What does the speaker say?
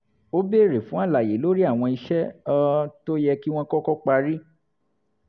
ó béèrè fún àlàyé lórí àwọn iṣẹ́ um tó yẹ kí wọ́n kọ́kọ́ parí